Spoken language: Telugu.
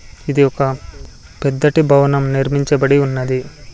ఇది ఒక పెద్దటి భవనం నిర్మించబడి ఉన్నది.